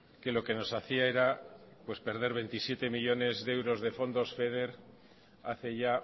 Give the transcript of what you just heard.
que lo que nos hacía era perder veintisiete millónes de euros de fondos feder hace ya